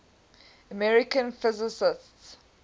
american physicists